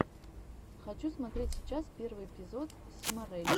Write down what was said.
хочу смотреть сейчас первый эпизод симорелли